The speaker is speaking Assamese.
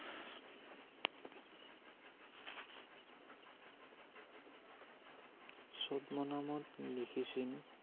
চদ্ম নামত লিখিছিল ।